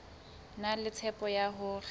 na le tshepo ya hore